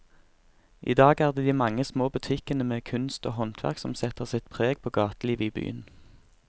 I dag er det de mange små butikkene med kunst og håndverk som setter sitt preg på gatelivet i byen.